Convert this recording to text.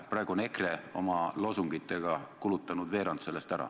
Praegu on EKRE oma loosungitega kulutanud veerand tundi sellest ära.